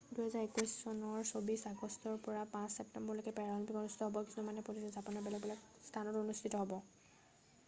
2021 চনৰ 24 আগষ্টৰ পৰা 5 ছেপ্তেম্বৰলৈকে পেৰাঅলিম্পিক অনুষ্ঠিত হ'ব কিছুমান প্ৰতিযোগিতা জাপানৰ বেলেগ বেলেগ স্থানত অনুষ্ঠিত হ'ব